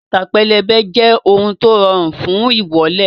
Bàtà pẹlẹbẹ jẹ́ ohun tó rọrùn fún ìwọ́lẹ̀